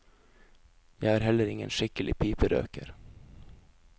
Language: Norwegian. Jeg er heller ingen skikkelig piperøker.